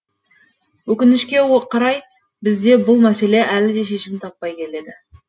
өкінішке қарай бізде бұл мәселе әлі де шешімін таппай келеді